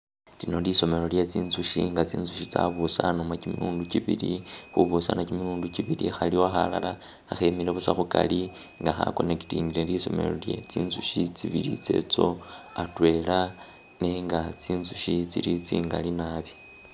Tsino lisomelo lyetsitsushi nga tsitsushi tsabusanebo kimilundi kibili, khubusanabo kimilundi kibili khaliwo khalala khakhemile busa khukali nga khaconnectingile busa lisomelo lye tsitsukhi tsibili tsetso atwela nenga tsitsushe tsili tsingali naabi